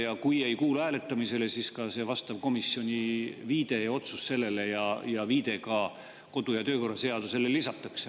Ja kui ei kuulu hääletamisele, siis ka see vastav viide komisjoni otsusele ja viide ka kodu‑ ja töökorra seadusele lisatakse.